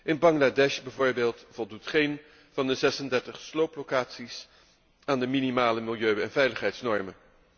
In Bangladesh bijvoorbeeld voldoet geen van de 36 slooplocaties aan de minimale milieu en veiligheidsnormen.